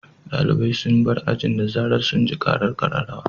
Dalibai sun bar ajin da zarar sun ji karar kararrawa.